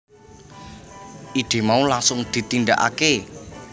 Ide mau langsung ditindakake